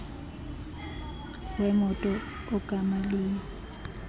wemoto ogama liyi